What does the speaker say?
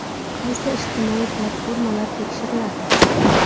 Qaysi ijtimoiy platformalar tekshiriladi?